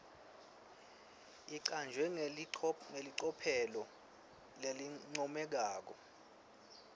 icanjwe ngelicophelo lelincomekako